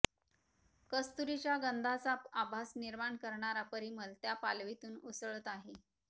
कस्तुरीच्या गंधाचा आभास निर्माण करणारा परिमल त्या पालवीतून उसळत आहे